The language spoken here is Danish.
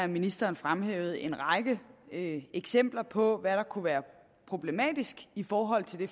ministeren fremhævede en række eksempler på hvad der kunne være problematisk i forhold til det